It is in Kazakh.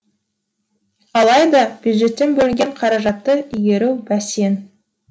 алайда бюджеттен бөлінген қаражатты игеру бәсең